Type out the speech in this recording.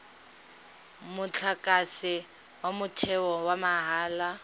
motlakase wa motheo wa mahala